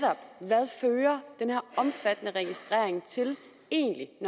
omfattende registrering egentlig